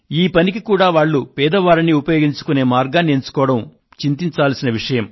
ఈ పనికి కూడా వాళ్లు పేదవారిని ఉపయోగించుకునే మార్గాన్ని ఎంచుకోవడం చింతించాల్సిన విషయం